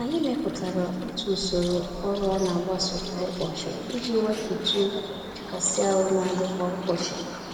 Anyị mepụtara otu usoro ọrụ anagbaso kwa ụbọchị, iji wepụtụ̀ nchekasị-ahụ nadị kwa ụbọchị